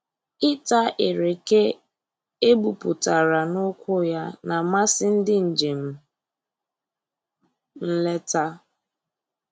Ịta ereke egbupụtara n'ukwu ya na-amasị ndị njem nleta